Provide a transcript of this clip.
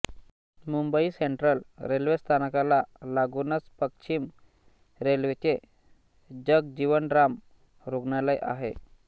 Mumbai central railway स्थानकाला लागूनच पश्चिम रेल्वेचे जगजीवनराम रुग्णालय आहे